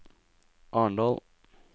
Arendal